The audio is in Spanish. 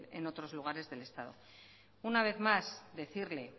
en otros lugares del estado una vez más decirle